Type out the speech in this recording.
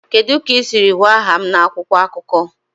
Kedu ka ị siri hụ aha m na akwụkwọ akụkọ?